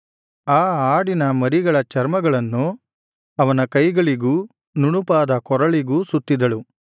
ಆ ಆಡಿನ ಮರಿಗಳ ಚರ್ಮಗಳನ್ನು ಅವನ ಕೈಗಳಿಗೂ ನುಣುಪಾದ ಕೊರಳಿಗೂ ಸುತ್ತಿದಳು